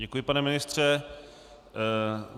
Děkuji, pane ministře.